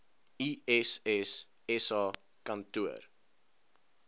iss sa kantoor